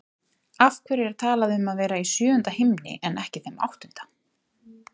Af hverju er talað um að vera í sjöunda himni en ekki þeim áttunda?